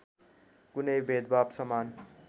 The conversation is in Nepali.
कुनै भेदभाद समान